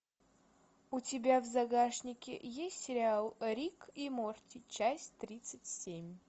у тебя в загашнике есть сериал рик и морти часть тридцать семь